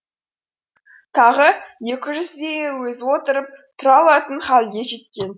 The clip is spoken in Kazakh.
тағы екі жүздейі өзі отырып тұра алатын халге жеткен